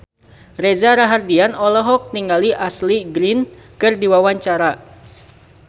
Reza Rahardian olohok ningali Ashley Greene keur diwawancara